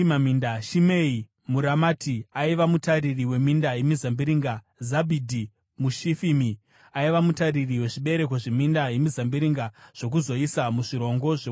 Shimei muRamati aiva mutariri weminda yemizambiringa. Zabhidhi muShifimi aiva mutariri wezvibereko zveminda yemizambiringa zvokuzoisa muzvirongo zvewaini.